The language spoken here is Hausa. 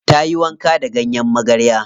Ta yi wanka da ganyen magarya.